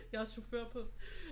Jeg har chauffør på